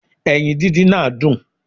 Eyin díndín náà dùn